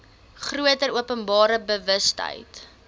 groter openbare bewustheid